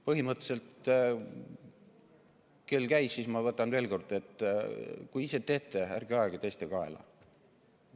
Põhimõtteliselt, kuna kell käis, siis ma ütlen veel kord: kui ise teete, ärge ajage teiste kaela!